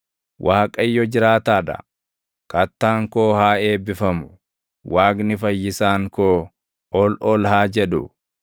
Waaqayyo jiraataa dha! Kattaan koo haa eebbifamu! Waaqni Fayyisaan koo ol ol haa jedhu!